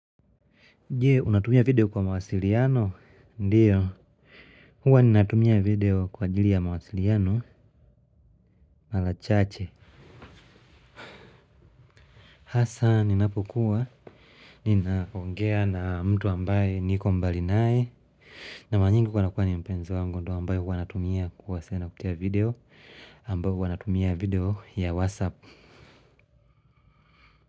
Je, unatumia video kwa mawasiliano, ndiyo. Huwa ninatumia video kwa jili ya mawasiliano, malachache. Hasaa, ninapokuwa ninaongea na mtu ambaye niko mbali naye. Na mara nyingi huwa inakuwa ni mpenzi wangu ndio ambaye huwa natumia kuwasiliana kupitia video ambaye huwa natumia video ya WhatsApp.